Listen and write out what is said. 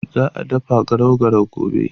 Za a dafa garau garau gobe.